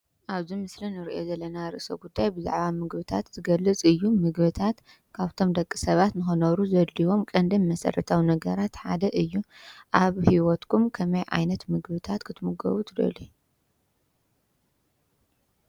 ኣብዚ ምስሊ ንሪኦ ዘለና ርእሰ ጉዳይ ብዛዕባ ምግብታት ዝገልፅ እዩ። ምግብታት ካብቶም ንደቂ ሰባት ንክነብር ዘድልይዎ ቀንድን መሰረታዊ ነገራት ሓደ እዩ። ኣብ ሂወትኩም ከመይ ዓይነት ምግብታት ክትምገቡ ትደልዩ?